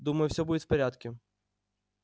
думаю всё будет в порядке